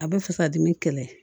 A bɛ fasa dimi kɛlɛ